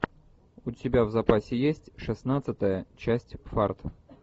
у тебя в запасе есть шестнадцатая часть фарт